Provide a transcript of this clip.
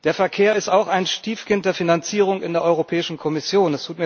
Der Verkehr ist auch ein Stiefkind der Finanzierung in der Europäischen Kommission.